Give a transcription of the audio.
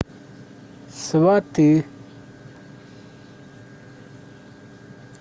сваты